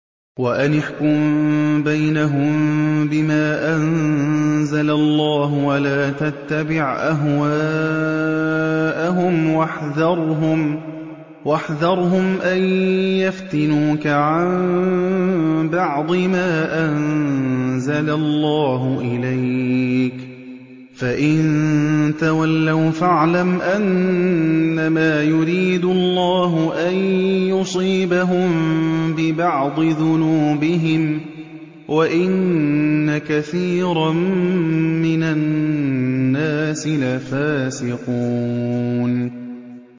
وَأَنِ احْكُم بَيْنَهُم بِمَا أَنزَلَ اللَّهُ وَلَا تَتَّبِعْ أَهْوَاءَهُمْ وَاحْذَرْهُمْ أَن يَفْتِنُوكَ عَن بَعْضِ مَا أَنزَلَ اللَّهُ إِلَيْكَ ۖ فَإِن تَوَلَّوْا فَاعْلَمْ أَنَّمَا يُرِيدُ اللَّهُ أَن يُصِيبَهُم بِبَعْضِ ذُنُوبِهِمْ ۗ وَإِنَّ كَثِيرًا مِّنَ النَّاسِ لَفَاسِقُونَ